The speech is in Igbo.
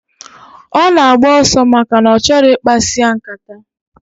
Ona agba oso, maka na ochoro ikpasi ya nkata.